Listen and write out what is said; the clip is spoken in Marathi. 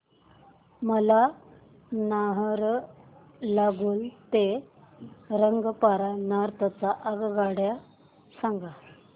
मला नाहरलागुन ते रंगपारा नॉर्थ च्या आगगाड्या सांगा